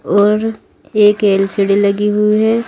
और एक एल_सी_डी लगी हुई है।